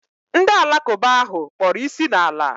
Ndị alakụba ahụ kpọrọ isi n'ala